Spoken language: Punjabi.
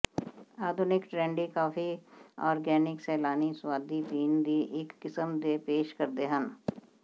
ਆਧੁਨਿਕ ਟਰੈਡੀ ਕਾਫੀ ਔਰਗੈਨਿਕ ਸੈਲਾਨੀ ਸੁਆਦੀ ਪੀਣ ਦੀ ਇੱਕ ਕਿਸਮ ਦੇ ਪੇਸ਼ ਕਰਦੇ ਹਨ